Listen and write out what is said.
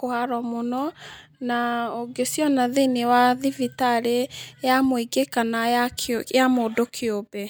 kũharwo mũno, na ũngĩciona thĩ-inĩ wa thibitarĩ ya mũingĩ kana ya mũndũ kĩũmbe.